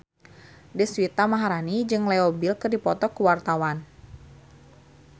Deswita Maharani jeung Leo Bill keur dipoto ku wartawan